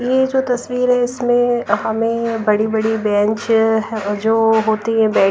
यह जो तस्वीर है इसमें हमें बड़ी-बड़ी बेंच जो होती है--